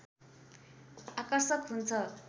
आकर्षक हुन्छ